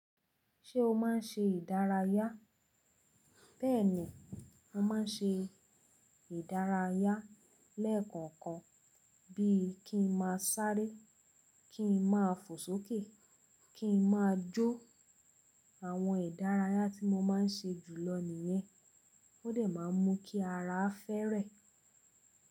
Ṣé o má ń ṣe ìdárayá? Bẹ́ẹ̀ni, mo ma ń ṣe ìdárayá lẹ́ẹ̀kokan bí i kí n máa sáré, kí n máa fò sókè, kí n máa jó. Àwọn ìdárayá tí mo má ń ṣe jùlọ nìyẹn. Ó dẹ̀ má ń mú kí ara fẹ́erẹ̀.